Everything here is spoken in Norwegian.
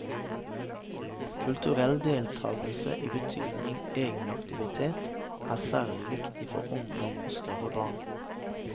Kulturell deltakelse i betydningen egenaktivitet, er særlig viktig for ungdom og større barn.